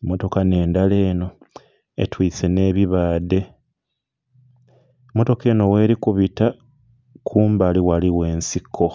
Mmotoka nh'endala eno etwise n'ebibaadhe, mmotoka eno weli kubita kumbali ghaligho ensiko.